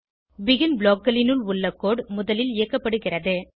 begin blockகளினுள் உள்ள code முதலில் இயக்கப்படுகிறது